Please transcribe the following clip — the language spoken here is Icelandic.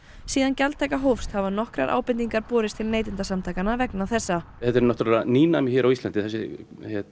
síðan gjaldtaka hófst hafa nokkrar ábendingar borist til Neytendasamtakanna vegna þessa þetta eru náttúurlega nýnæmi hér á Íslandi þessi